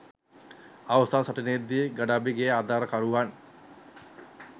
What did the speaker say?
අවසන් සටනේ දී ගඩාෆිගේ ආධාරකරුවන්